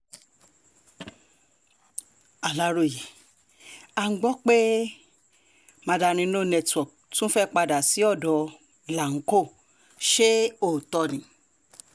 aláròye à ń gbọ́ pé mandarin no network tún fẹ́ẹ́ padà sí ọ̀dọ̀ láńkó ó ṣe òótọ́ ni